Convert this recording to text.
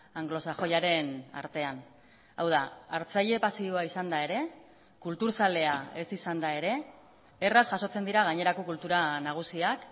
anglosajoiaren artean hau da hartzaile pasiboa izanda ere kultur zalea ez izanda ere erraz jasotzen dira gainerako kultura nagusiak